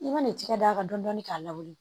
I mana i tigɛ daga dɔɔni dɔɔni k'a la wuli